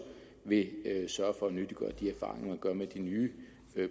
vil sørge for at nyttiggøre de erfaringer man gør med de nye